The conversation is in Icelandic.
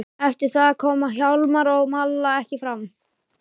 Eftir það koma Hjálmar og Malla ekki framar.